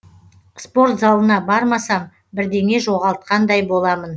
спорт залына бармасам бірдеңе жоғалтқандай боламын